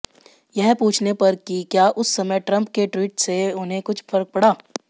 यह पूछने पर कि क्या उस समय ट्रंप के ट्वीट से उन्हें कुछ फर्क पड़ा